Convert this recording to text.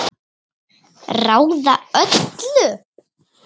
Ráða öllu?